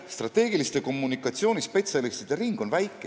Strateegilise kommunikatsiooni spetsialistide ring on Eestis väike.